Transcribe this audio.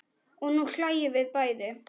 Og nú hlæjum við bæði.